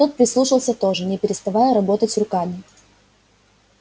тот прислушался тоже не переставая работать руками